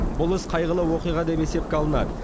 бұл іс қайғылы оқиға деп есепке алынады